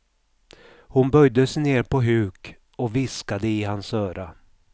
Hon böjde sig ner på huk och viskade i hans öra.